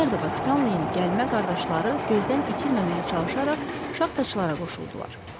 MacMurdo və Scanleyin gəlmə qardaşları gözdən itirməməyə çalışaraq şaxtaçılara qoşuldular.